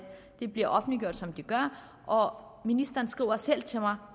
de bliver offentliggjort som de gør og ministeren skriver selv til mig